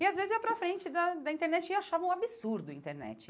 E às vezes ia para frente da da internet e achava um absurdo a internet.